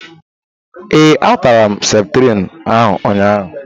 Ee, a tara m septrin ahụ ụnyaahụ.